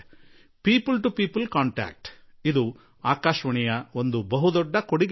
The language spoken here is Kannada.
ಜನರ ನಡುವಿನ ಸಂಪರ್ಕದಲ್ಲಿ ಆಕಾಶವಾಣಿಯದು ಬಹುದೊಡ್ಡ ಪಾತ್ರವಿದೆ